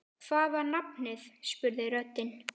Hvað var nafnið? spurði röddin.